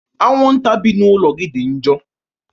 anwụnta bi n'ụlọ gị dị njọ